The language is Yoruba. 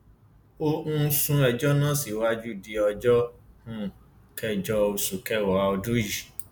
ó um sún ẹjọ náà síwájú di ọjọ um kẹjọ oṣù kẹwàá ọdún yìí